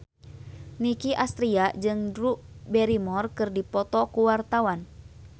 Nicky Astria jeung Drew Barrymore keur dipoto ku wartawan